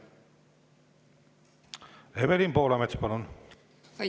Evelin Poolamets, palun!